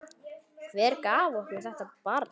Hver gaf okkur þetta barn?